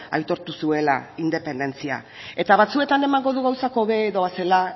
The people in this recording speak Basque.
aitortu zuela independentzia eta batzuetan emango du gauzak hobe doazela